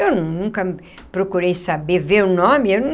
Eu nunca procurei saber, ver o nome eu.